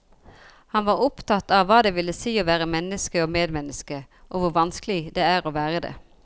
Han var opptatt av hva det vil si å være menneske og medmenneske, og hvor vanskelig det er å være det.